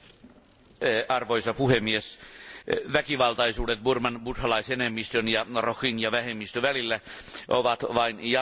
Arvoisa puhemies, väkivaltaisuudet Burman buddhalaisenemmistön ja rohingya vähemmistön välillä ovat vain jatkuneet.